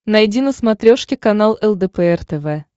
найди на смотрешке канал лдпр тв